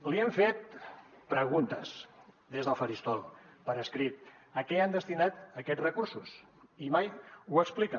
li hem fet preguntes des del faristol per escrit de a què han destinat aquests recursos i mai ho expliquen